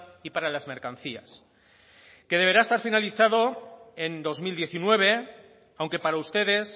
y para las mercancías que deberá estar finalizado en dos mil diecinueve aunque para ustedes